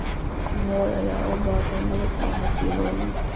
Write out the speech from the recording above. Moi ayaa ku baaqay nabad iyo xasillooni.